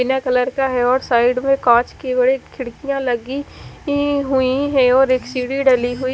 ईना colour का है और साइड में कांच की हुई एक खिड़कियां लगी हुई हैं और एक सीढ़ी भी डली हुई--